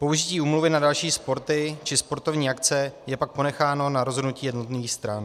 Použití úmluvy na další sporty či sportovní akce je pak ponecháno na rozhodnutí jednotlivých stran.